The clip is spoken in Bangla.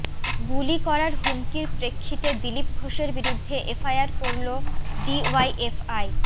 গুলি করার হুমকির প্রেক্ষিতে দিলীপ ঘোষের বিরুদ্ধে এফআইআর করল ডিওয়াইএফআই